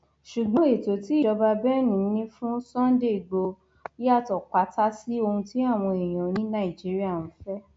ṣùgbọn ètò tí ìjọba benne ní fún sunday igbodò yàtọ pátá sí ohun tí àwọn èèyàn ní nàìjíríà ń fẹ